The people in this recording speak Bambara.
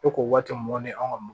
E ko waati mɔnni an ka